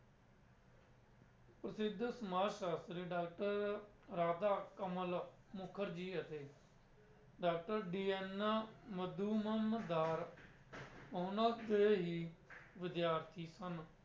ਪ੍ਰਸਿੱਧ ਸਮਾਜ ਸ਼ਾਸਤਰੀ doctor ਰਾਧਾ ਕਮਲ ਮੁਖਰਜੀ ਅਤੇ doctor DN ਉਹਨਾਂ ਦੇ ਹੀ ਵਿਦਿਆਰਥੀ ਸਨ।